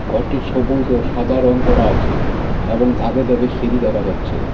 ঘরটি সবুজ ও সাদা রং করা আছে এবং ধাপে ধাপে সিঁড়ি দেখা যাচ্ছে.